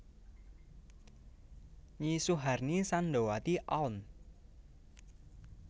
Nyi Suharni Samdowati Alm